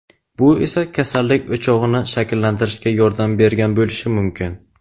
bu esa kasallik "o‘chog‘ini" shakllantirishga yordam bergan bo‘lishi mumkin.